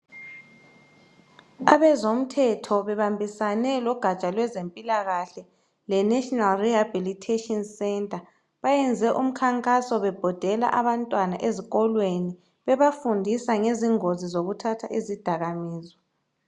Abezomthetho bebambisane logatsha lwezempilakahle leNational Rehabilitation Centre, bayenze umkhankaso bebhodela abantwana ezikolweni bebafundisa ngezingozi zokuthatha izidakamizwa.